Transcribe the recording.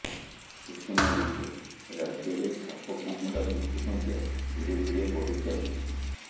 ସୂଚନାଯୋଗ୍ୟ ରାଜ୍ୟରେ ସାପକାମୁଡ଼ା ମୃତ୍ୟୁ ସଂଖ୍ୟା ଧୀରେ ଧୀରେ ବଢ଼ିଚାଲିଛି